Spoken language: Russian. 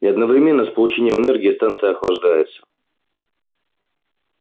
и одновременно с получением энергии станция охлаждается